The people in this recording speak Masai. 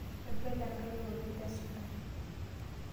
Ebele engaji oleng te suntai.